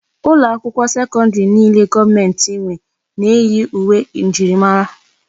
Ụlọ akwụkwọ sekọndrì niile gọọmenti nwe na-eyi uwe njirimara.